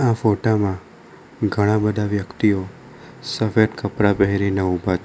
આ ફોટામાં ઘણા બધા વ્યક્તિઓ સફેદ કપડાં પહેરીને ઊભા છે.